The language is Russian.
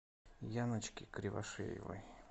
яночки кривошеевой